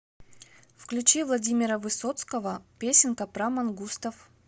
включи владимира высоцкого песенка про мангустов